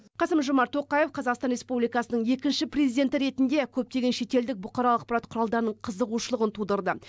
қасым жомарт тоқаев қазақстан республикасының екінші президенті ретінде көптеген шетелдік бұқаралық ақпарат құралдарының қызығушылығын тудырды